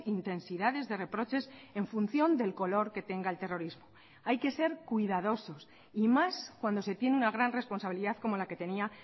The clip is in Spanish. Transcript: intensidades de reproches en función del color que tenga el terrorismo hay que ser cuidadosos y más cuando se tiene una gran responsabilidad como la que tenía